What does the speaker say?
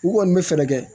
U kɔni bɛ fɛɛrɛ kɛ